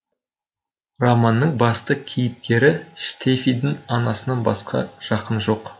романның басты кейіпкері штефидің анасынан басқа жақыны жоқ